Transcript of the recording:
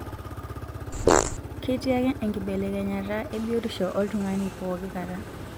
Ketii ake enkibelekenyata ebiotisho oltungani pookikata.